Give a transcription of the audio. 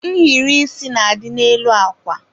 nhiri isi na-adị n'elu akwa.